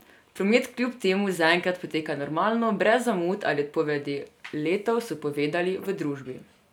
Promet kljub temu zaenkrat poteka normalno, brez zamud ali odpovedi letov, so povedali v družbi.